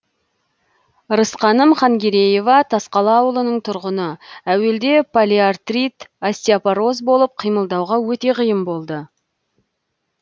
рысқаным хангереева тасқала ауылының тұрғыны әуелде полиартирт остеопороз болып қимылдауға өте қиын болды